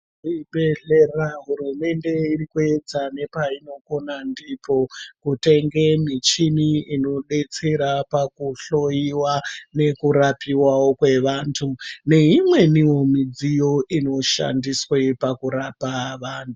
Muzvibhehlera hurumende irikuedza nepainokona ndipo kutenge michini ino detsera pakuhloyiwa nekurapiwawo kwevantu neimweniwo midziyo inoshandiswe pakurapa vanhu.